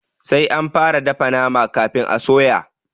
Sai anfara dafa nama kafin a soya.